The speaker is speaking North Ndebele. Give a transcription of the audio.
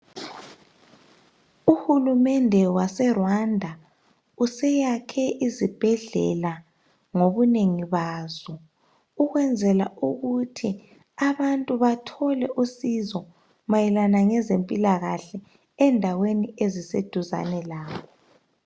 Uhulumende wase Rwanda useyakhe izibhedlela ngobunengi bazo ukwenzela ukuthi abantu bathole usizo mayelana ngezempilakahle endaweni eziseduzane labo.